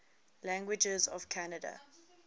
languages of canada